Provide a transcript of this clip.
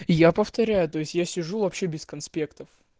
я повторяю то есть я сижу вообще без конспектов